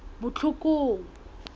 botlhokong